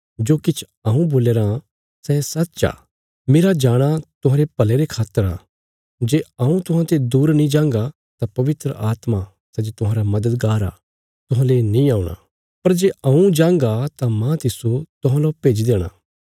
जो किछ हऊँ बोल्या राँ सै सच्च आ मेरा जाणा तुहांरे भले रे खातर आ जे हऊँ तुहांते दूर नीं जांगा तां पवित्र आत्मा सै जे तुहांरा मददगार आ तुहांले नीं औणा पर जे हऊँ जांगा तां मांह तिस्सो तुहांलौ भेजी देणा